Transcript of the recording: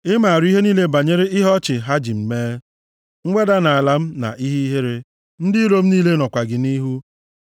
Ị maara ihe niile banyere ihe ọchị ha ji m mee, mweda nʼala m na ihe ihere: ndị iro m niile nọkwa gị nʼihu.